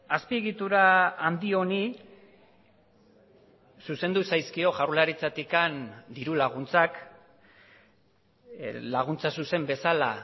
azpiegitura handi honi zuzendu zaizkio jaurlaritzatik diru laguntzak laguntza zuzen bezala